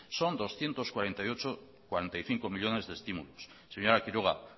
son doscientos cuarenta y cinco millónes de estímulos señora quiroga